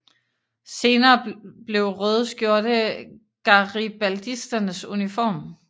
Senere blev røde skjorte garibaldisternes uniform